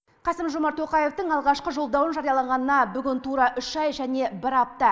қасым жомарт тоқаевтың алғашқы жолдауын жариялағанына бүгін тура үш ай және бір апта